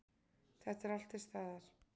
Þetta er allt til staðar.